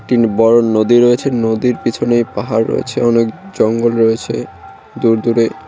বড় নদী রয়েছে নদীর পিছনে পাহাড় রয়েছে অনেক জঙ্গল রয়েছে দূরদূরে।